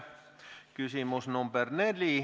Küsimus nr 4.